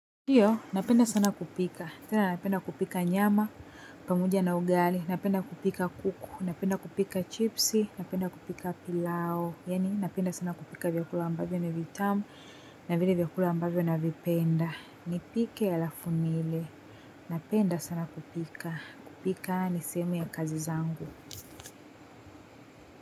Ndiyo, napenda sana kupika. Tena napenda kupika nyama, pamoja na ugali, napenda kupika kuku, napenda kupika chipsi, napenda kupika pilao, yaani napenda sana kupika vyakula ambavyo na vitamu, na vile vyakula ambavyo navipenda. Ni pike alafu niile. Napenda sana kupika kupika ni sehemu ya kazi zangu.